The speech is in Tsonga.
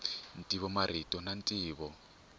ntivo marito na ntivo